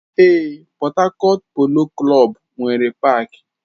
Ee, Port Harcourt polo klọb nwere paaki.